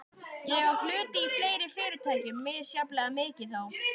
Ég á hluti í fleiri fyrirtækjum, misjafnlega mikið þó.